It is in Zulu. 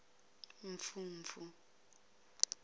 mfumfu